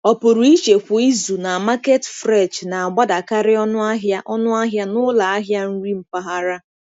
Ọpụrụiche kwa izu na Market Fresh na-agbadakarị ọnụ ahịa ọnụ ahịa n'ụlọ ahịa nri mpaghara.